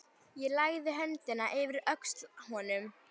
Ég lagði höndina yfir öxl honum.